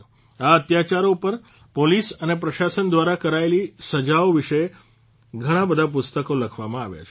આ અત્યાચારો ઉપર પોલીસ અને પ્રશાસન દ્વારા કરાયેલી સજાઓ વિશે ઘણાબધા પુસ્તકો લખવામાં આવ્યા છે